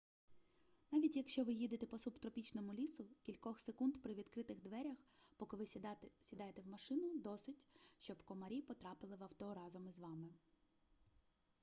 навіть якщо ви їдете по субтропічному лісу кількох секунд при відкритих дверях поки ви сідаєте в машину досить щоб комарі потрапили в авто разом із вами